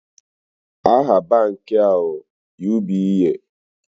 Aha banki a ụ UBA